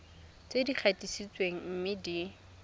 tse di gatisitsweng mme di